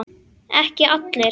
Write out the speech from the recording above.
Ekki allir.